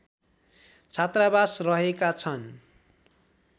छात्रावास रहेका छन्